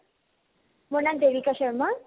মোৰ নাম দেৱিকা শৰ্মা